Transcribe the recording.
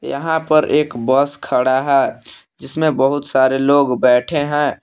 यहां पर एक बस खड़ा है जिसमें बहुत सारे लोग बैठे हैं।